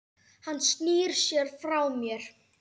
Hann snýr sér frá mér.